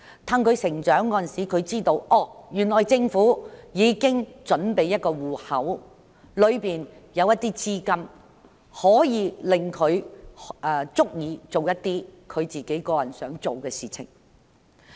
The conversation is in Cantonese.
當他們長大後，便知道政府已經準備了一個戶口，裏面的資金足以讓他們做自己想做的事情。